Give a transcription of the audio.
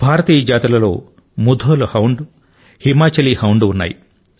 భారతీయ జాతుల లో Mudhol hound Himachali hound ఉన్నాయి